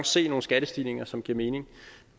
se nogle skattestigninger som giver mening